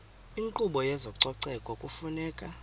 inkqubo yezococeko kufuneka